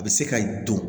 A bɛ se ka don